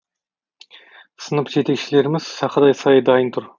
сынып жетекшілеріміз сақадай сай дайын тұр